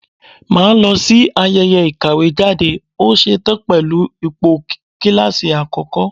Mà á lọ sí ayẹyẹ ìkàwé jáde, ó ṣe tán pẹ̀lú ipò kíláàsì àkọ́kọ́.